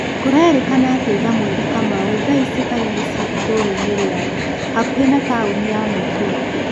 Kũrerĩkana atĩ Thamweri Kamau thaa ici arĩ muciĩ ĩtura-inĩ rĩao hakuhĩ na taũni ya Naikuru